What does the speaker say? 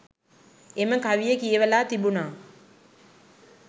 එම කවිය කියවලා තිබුණා